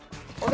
og